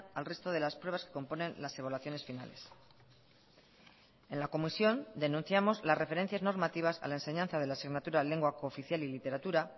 al resto de las pruebas que componen las evaluaciones finales en la comisión denunciamos las referencias normativas a la enseñanza de la asignatura lengua cooficial y literatura